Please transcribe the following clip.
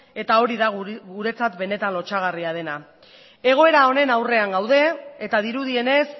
eta hori da guretzat benetan lotsagarria dena egoera honen aurrean gaude eta dirudienez